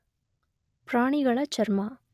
ಪ್ರಾಣಿಗಳಚರ್ಮ